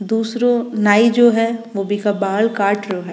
दूसरो नाई जो है बो बिका बाल काट रो है।